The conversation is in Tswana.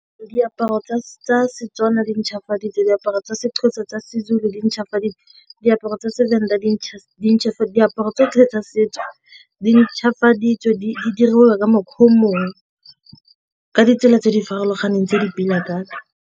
Diaparo tsa Setswana di ntšhafaditse diaparo tsa Sexhosa, tsa Sezulu di ntšhafaditse diaparo tsa Sevenda diaparo tsa setso di ntšhwafale ditso di diriwa ka ditsela tse di farologaneng tse di pila thata.